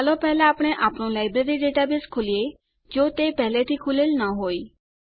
ચાલો પહેલા આપણે આપણું લાઈબ્રેરી ડેટાબેઝ ખોલીએ જો તે પહેલાથી ખૂલેલ ન હોય